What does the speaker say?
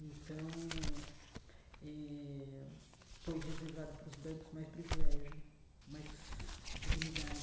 Então eh, foi reservado para os brancos mais privilégio, mais dignidade.